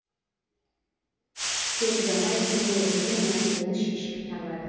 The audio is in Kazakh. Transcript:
көп ұзамай күрмеуі қиын мәселеңіз шешімін табады